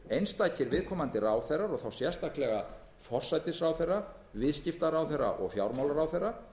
einstakir viðkomandi ráðherrar og þá sérstaklega forsætisráðherra viðskiptaráðherra og fjármálaráðherra